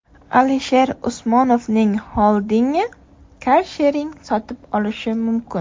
Alisher Usmonovning xoldingi karshering sotib olishi mumkin.